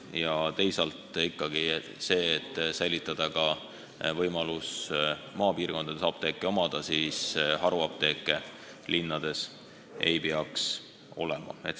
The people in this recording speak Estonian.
Ja teisalt on vaja säilitada võimalus maapiirkondades apteeke omada, haruapteeke linnades aga ei peaks olema.